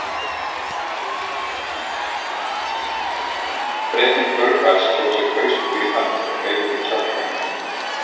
Bretinn Burbage tók sér hauskúpu í hönd og hreyfði kjálka hennar.